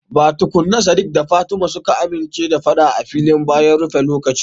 Ba tukuna sadiq da fatima suka amince da fada a filin bayan rufe lokaci.